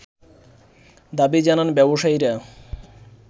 দাবি জানান ব্যবসায়ীরা